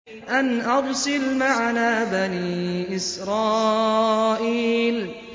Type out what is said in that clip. أَنْ أَرْسِلْ مَعَنَا بَنِي إِسْرَائِيلَ